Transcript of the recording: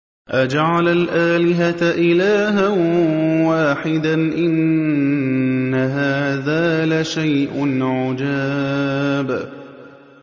أَجَعَلَ الْآلِهَةَ إِلَٰهًا وَاحِدًا ۖ إِنَّ هَٰذَا لَشَيْءٌ عُجَابٌ